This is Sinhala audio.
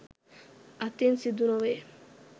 අතින් සිදුනොවේ.